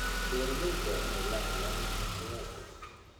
Beeralayda waa inay lahaadaan qorshayaal fog.